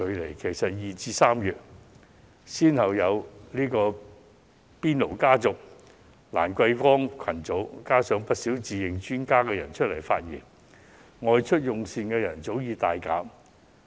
然而，早在2月及3月初，已先後出現"邊爐家族"及"蘭桂坊群組"，加上不少人自認專家提出意見，外出用膳的人早已大減。